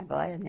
Agora, né?